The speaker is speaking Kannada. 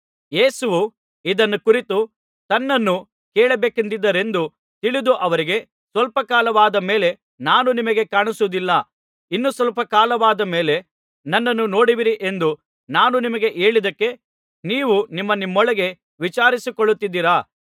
ಯೇಸುವು ಇದನ್ನು ಕುರಿತು ತನ್ನನ್ನು ಕೇಳಬೇಕೆಂದಿದ್ದಾರೆಂದು ತಿಳಿದು ಅವರಿಗೆ ಸ್ವಲ್ಪ ಕಾಲವಾದ ಮೇಲೆ ನಾನು ನಿಮಗೆ ಕಾಣಿಸುವುದಿಲ್ಲ ಇನ್ನು ಸ್ವಲ್ಪ ಕಾಲವಾದ ಮೇಲೆ ನನ್ನನ್ನು ನೋಡುವಿರಿ ಎಂದು ನಾನು ನಿಮಗೆ ಹೇಳಿದ್ದಕ್ಕೆ ನೀವು ನಿಮ್ಮನಿಮ್ಮೊಳಗೆ ವಿಚಾರಿಸಿಕೊಳ್ಳುತ್ತಿದ್ದೀರಾ